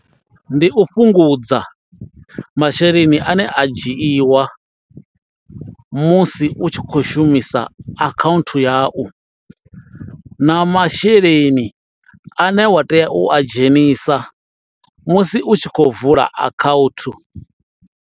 Ndi u fhungudza masheleni ane a dzhiiwa musi u tshi khou shumisa account yau na masheleni ane wa tea u a dzhenisa musi u tshi khou vula akhaunthu.